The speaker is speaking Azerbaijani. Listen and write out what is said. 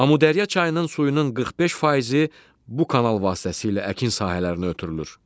Amudərya çayının suyunun 45 faizi bu kanal vasitəsilə əkin sahələrinə ötürülür.